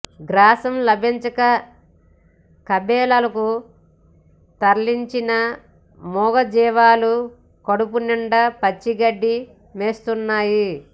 గ్రాసం లభించక కబేళాలకు తరలిన మూగజీవాలు కడుపునిండా పచ్చిగడ్డి మేస్తున్నాయి